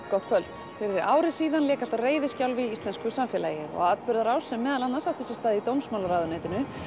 gott kvöld fyrir ári síðan lék allt á reiðiskjálfi í íslensku samfélagi og atburðarás sem meðal annars átti sér stað í dómsmálaráðuneytinu